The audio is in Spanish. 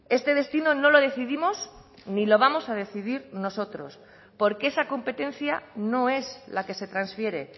este destino no lo decidimos ni lo vamos a decidir nosotros porque esa competencia no es la que se transfiere